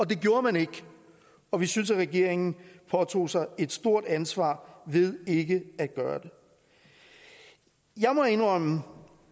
det gjorde man ikke og vi synes at regeringen påtog sig et stort ansvar ved ikke at gøre det jeg må indrømme